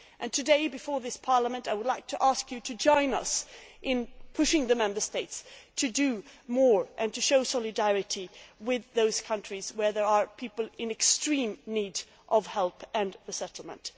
Today, before this Parliament, I would like to ask you to join us in urging the Member States to do more and to show solidarity with those countries where there are people in extreme need of help and resettlement.